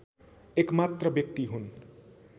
एकमात्र व्यक्ति हुन्